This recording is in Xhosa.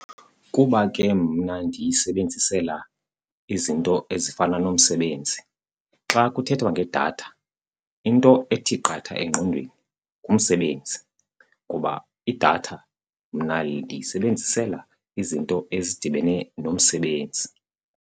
Kuba ke mna ndiyisebenzisela izinto ezifana nomsebenzi. Xa kuthethwa ngedatha into ethi qatha engqondweni ngumsebenzi ngoba idatha mna ndiyisebenzisela izinto ezidibene nomsebenzi.